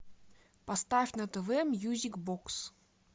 поставь на тв мьюзик бокс